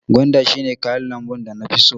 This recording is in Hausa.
Gwanda shi ne kayan lambu da na fi so.